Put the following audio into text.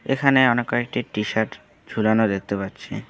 এখানে অনেক কয়েকটি টি-শার্ট ঝুলানো দেখতে পাচ্ছি।